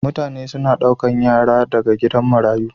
mutane suna daukar yara daga gidan marayu.